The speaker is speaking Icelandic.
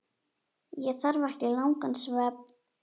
Ég þarf ekki langan svefn.